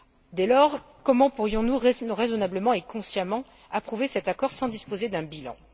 Dès lors, comment pourrions nous raisonnablement et consciemment approuver cet accord sans disposer d'un bilan?